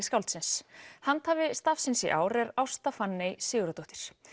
skáldsins handhafi stafsins í ár er Ásta Fanney Sigurðardóttir